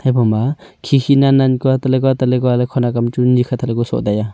hai boma khikhi nan nan kua tahle kua tahle kua ley khonak kam chu nikhat hahle kua soh taiya.